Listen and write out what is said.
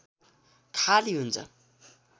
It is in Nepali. खाली हुन्छ